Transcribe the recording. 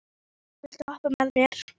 Lars, viltu hoppa með mér?